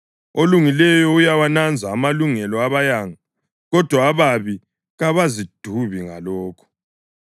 Olungileyo uyawananza amalungelo abayanga, kodwa ababi kabazidubi ngalokho.